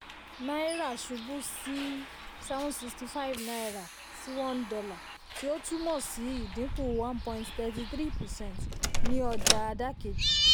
náírà ṣubú sí seventy five naira sí one dollar tí ó túmọ̀ sí ìdínkù one point thirty three percent ní ọjà àdàkejì.